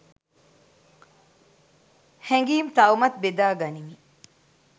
හැඟීම් තවමත් බෙදා ගනිමි